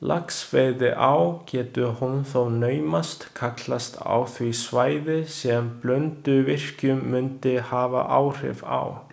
Laxveiðiá getur hún þó naumast kallast á því svæði, sem Blönduvirkjun mundi hafa áhrif á.